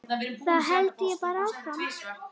Þá held ég bara áfram.